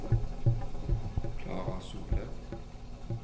Klara Solem